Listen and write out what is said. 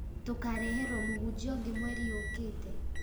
Tũkareherwo mũhunjia ũngĩ mweri ũũkĩte